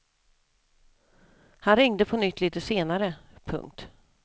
Han ringde på nytt litet senare. punkt